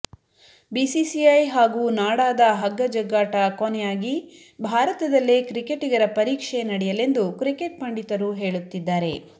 BCCI ಹಾಗೂ ನಾಡಾದ ಹಗ್ಗ ಜಗ್ಗಾಟ ಕೊನೆಯಾಗಿ ಭಾರತದಲ್ಲೇ ಕ್ರಿಕೆಟಿಗರ ಪರೀಕ್ಷೆ ನಡೆಯಲೆಂದು ಕ್ರಿಕೆಟ್ ಪಂಡಿತರು ಹೇಳುತ್ತಿದ್ದಾರೆ